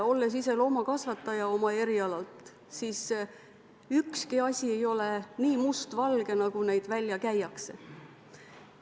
Olles ise erialalt loomakasvataja, tean, et ükski asi ei ole nii mustvalge, nagu see välja käiakse.